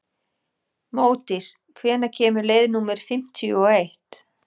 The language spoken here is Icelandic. Módís, hvenær kemur leið númer fimmtíu og eitt?